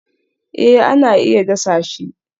Eh ana iya dasa shi